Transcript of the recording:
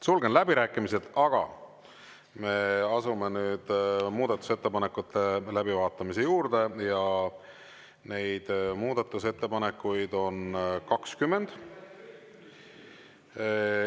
Sulgen läbirääkimised, aga me asume nüüd muudatusettepanekute läbivaatamise juurde ja neid muudatusettepanekuid on 20.